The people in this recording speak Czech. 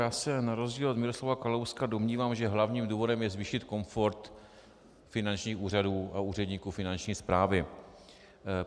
Já se na rozdíl od Miroslava Kalouska domnívám, že hlavním důvodem je zvýšit komfort finančních úřadů a úředníků finanční správy.